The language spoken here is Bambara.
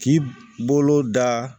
K'i bolo da